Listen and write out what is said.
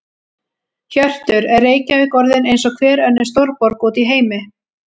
Hjörtur: Er Reykjavík orðin eins og hver önnur stórborg út í heimi?